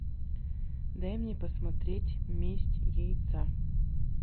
дай мне посмотреть месть яйца